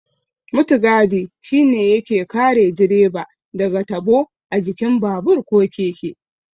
Mutigadi shi ne yake kare direba daga tabo a jikin babur ko keke.